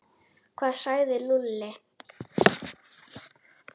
Hvað sagði Lúlli?